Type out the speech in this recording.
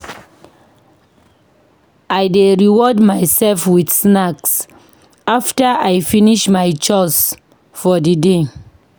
I dey reward myself with snack after I finish my chores for di day.